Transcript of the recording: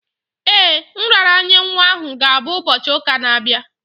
Ee, nraranye nwa ahụ ga-abụ ụbọchị ụka na-abịa.